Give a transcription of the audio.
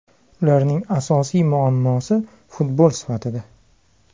Ularning asosiy muammosi futbol sifatida.